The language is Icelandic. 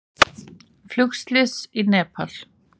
Flugslys í Nepal